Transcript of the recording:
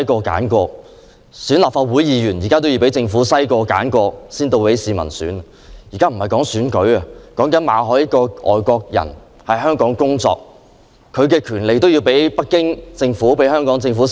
然而，我們現在不是在討論選舉問題，而是馬凱遇到的問題：一個外國人來港工作，他的權利也要被北京政府和特區政府篩選。